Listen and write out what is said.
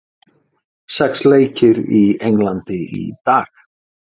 Sex leikir í Englandi í dag